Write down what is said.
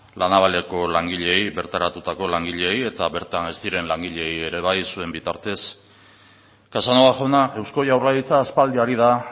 la navaleko langileei bertaratutako langileei eta bertan ez diren langileei ere bai zuen bitartez casanova jauna eusko jaurlaritza aspaldi ari da